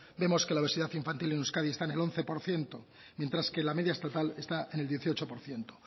vemos que la obesidad infantil en euskadi está en el once por ciento mientras que la media estatal está en el dieciocho por ciento